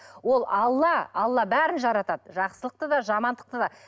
ол алла алла бәрін жаратады жақсылықты да жамандықты да